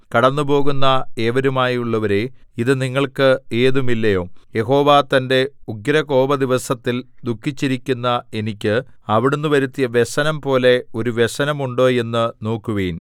കടന്നുപോകുന്ന ഏവരുമായുള്ളോരേ ഇത് നിങ്ങൾക്ക് ഏതുമില്ലയോ യഹോവ തന്റെ ഉഗ്രകോപദിവസത്തിൽ ദുഃഖിപ്പിച്ചിരിക്കുന്ന എനിക്ക് അവിടുന്ന് വരുത്തിയ വ്യസനം പോലെ ഒരു വ്യസനം ഉണ്ടോ എന്ന് നോക്കുവിൻ